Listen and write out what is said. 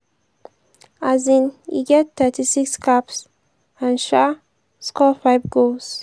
um e get 36 caps and um score 5 goals.